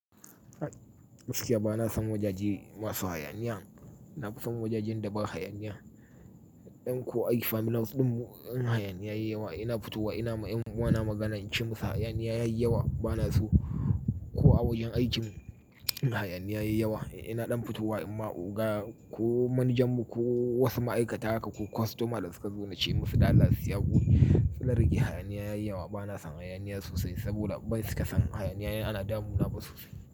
Gaskiya ba na son wajaje masu hayaniya. Nafison waja jen da ba hayaniya dan ko ai family din mu ɗin mu in hayaniya yayi yawa ina fitowa ina ma ƴan uwana magana in ce musu hayaniya yayi yawa ba na so. Ko a wajen aikin mu in hayaniya yayi yawa ina ɗan fitowa in ma oga ko manajan mu ko wasu ma'aikata haka ko kwastoma da suka zo na ce musu ɗa allah su yi hakuri. Suna rage hayaniya yayi yawa ba na son hayaniya sosai saboda banil cika son hayaniya in ana damuna ba sosai.